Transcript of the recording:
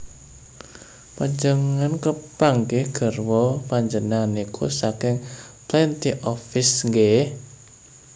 Panjenengan kepanggih garwa panjenengan niku saking Plenty of Fish nggeh?